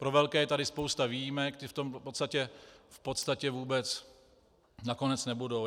Pro velké je tady spousta výjimek, ty v tom v podstatě vůbec nakonec nebudou.